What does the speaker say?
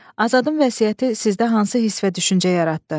Azadın vəsiyyəti sizdə hansı hiss və düşüncə yaratdı?